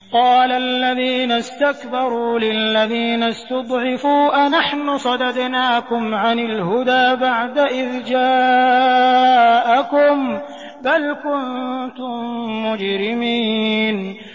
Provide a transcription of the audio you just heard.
قَالَ الَّذِينَ اسْتَكْبَرُوا لِلَّذِينَ اسْتُضْعِفُوا أَنَحْنُ صَدَدْنَاكُمْ عَنِ الْهُدَىٰ بَعْدَ إِذْ جَاءَكُم ۖ بَلْ كُنتُم مُّجْرِمِينَ